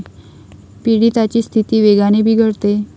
पीडिताची स्थिती वेगाने बिघडते.